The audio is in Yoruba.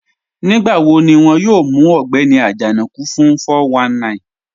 Nígbàwò̀ ní wọn yóò mù Ọ̀gbẹni Ajanaku fún 419?